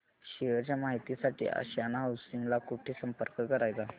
share च्या माहिती साठी आशियाना हाऊसिंग ला कुठे संपर्क करायचा